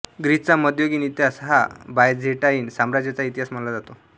ग्रीसचा मध्ययुगीन इतिहास हा बायझेंटाईन साम्राज्याचा इतिहास मानला जातो